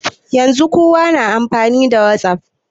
Yanzun kowa na amfani da whatsapp